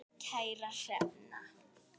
Kæra Hrefna.